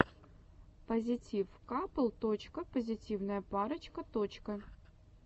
позитив капл точка позитивная парочка точка